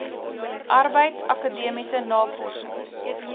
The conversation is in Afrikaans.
arbeids akademiese navorsings